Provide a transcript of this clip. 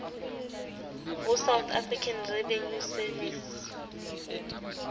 ho south african revenue service